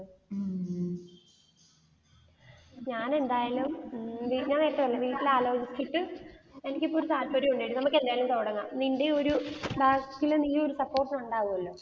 ഞാൻ എന്തായാലും ഉം ഞാൻ നേരത്തെ പറഞ്ഞില്ലേ വീട്ടിൽ ആലോചിച്ചിട്ട്, എനിക്ക് ഒരു താല്പര്യമുണ്ട് ടി നമുക്ക് എന്തായാലും തുടങ്ങാം. നിന്റെ ഒരു support ഉണ്ടാകുമല്ലോ.